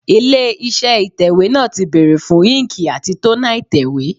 Ilé iṣẹ́ ìtẹ̀wẹ́ náà ti bèrè fún íńkì àti tónà ìtẹ̀wẹ́.